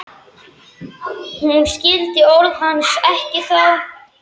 Hún skildi orð hans ekki þá.